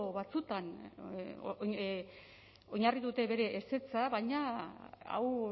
batzuetan oinarri dute bere ezetza baina hau